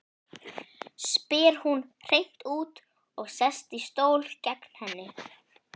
spyr hún hreint út og sest í stól gegnt henni.